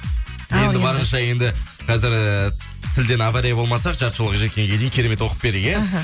енді барынша енді қазір э тілден авария болмаса жарты жылға жеткенге дейін керемет оқып берді иә аха